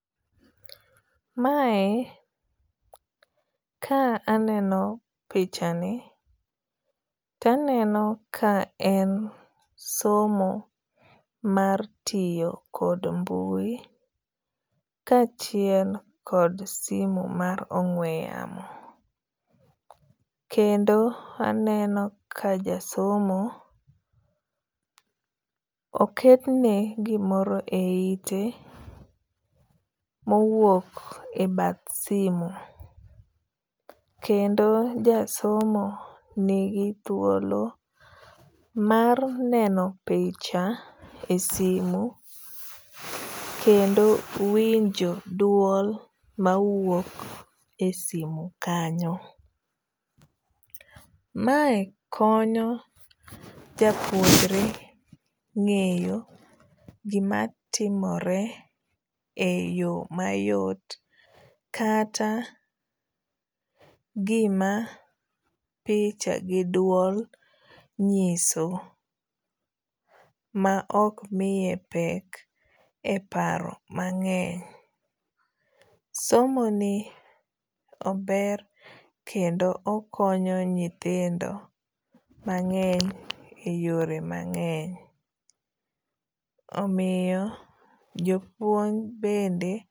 Mae ka aneno pichani to aneno ka en somo mar tiyo kod mbui kachiel kod simo mar ong'we yamo. Kendo aneno ka ja somo oketne gimoro e ite mowuok e bath simo. Kendo jasomo nigi thuolo mar neno picha e simo kendo winjo duol mawuok e simo kanyo. Mae konyo japuonjre ng'eyo gima timore e yo mayot kata gima picha gi duol nyiso ma ok miye pek e paro mang'eny. Somo ni ober kendo okonyo nyithindo mang'eny e yore mang'eny. Omiyo jopuonj bende.